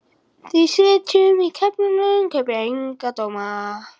Við sem sitjum í klefunum kaupum enga dóma.